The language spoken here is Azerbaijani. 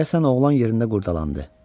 Deyəsən oğlan yerində qurdalandı.